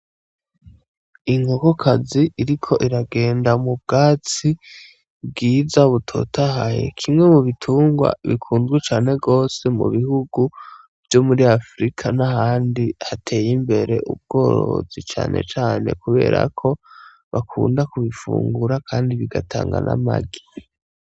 Inkokokazi iriko iragenda mu bwatsi bwiza, butotahaye. Kimwe mu bitungwa bikunzwe cane gose mu bihugu vyo muri Afurika n'ahandi hateye imbere ubworozi. Cane cane kubera ko bakunda kubifungura, kandi bigatanga n'amagi.